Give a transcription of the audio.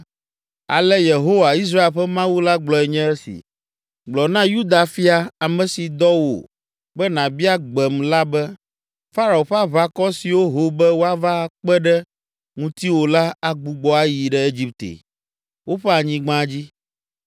“Ale Yehowa, Israel ƒe Mawu la gblɔe nye esi: Gblɔ na Yuda fia, ame si dɔ wò be nàbia gbem la be, ‘Farao ƒe aʋakɔ siwo ho be woava akpe ɖe ŋutiwò la agbugbɔ ayi ɖe Egipte, woƒe anyigba dzi.